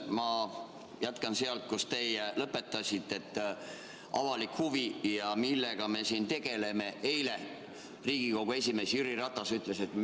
Ma jätkan sealt, kus teie lõpetasite, et on avalik huvi ja millega me siin tegeleme.